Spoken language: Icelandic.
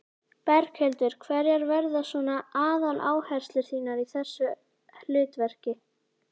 Berghildur: Hverjar verða svona aðaláherslur þínar í þessu hlutverki?